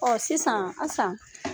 Ɔ sisan Asan.